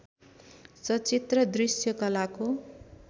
सचित्र दृष्यकलाको